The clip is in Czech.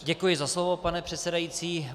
Děkuji za slovo, pane předsedající.